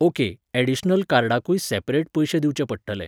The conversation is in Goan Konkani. ओके, ऍडिशनल कार्डाकूय सॅपरेट पयशे दिवचे पडटले